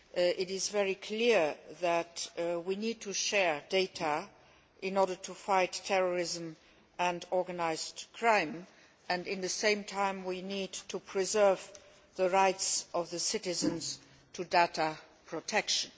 It is very clear that we need to share data in order to fight terrorism and organised crime and, at the same time, we need to preserve the rights of citizens to data protection.